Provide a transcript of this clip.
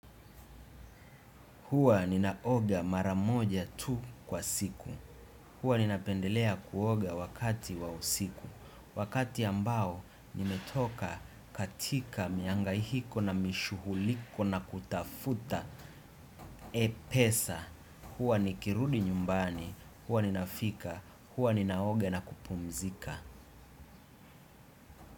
Hua ninaoga mara moja tu kwa siku. Huwa ninapendelea kuoga wakati wa usiku. Wakati ambao nimetoka katika miangaihiko na mishuhuliko na kutafuta E pesa. Huwa nikirudi nyumbani. Huwa ninafika. Huwa ninaoga na kupumzika.